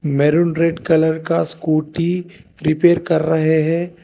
Maroon red colour का scooty prepare कर रहे है।